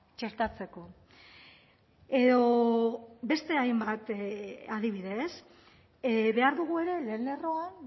txertatzeko edo beste hainbat adibide ez behar dugu ere lehen lerroan